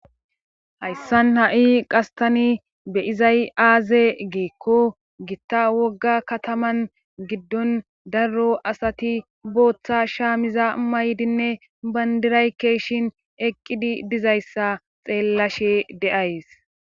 hayssan ha7i qastani beyizay aaze geekko gitta wogga kataman giddon darro asati booththa shaamiza maydinne bandiraykkeshin eqqidi dizayssa xeellashe deays